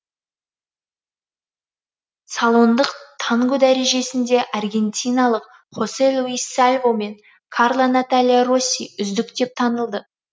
салондық танго дәрежесінде аргентиналық хосе луис сальво мен карла наталия росси үздік деп танылды